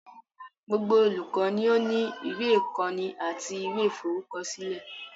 Gbogbo olùkọ́ ni ó ní ìwé ìkọ́ni àti ìwé ìforúkọsílẹ̀.